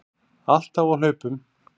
Alltaf á hlaupum.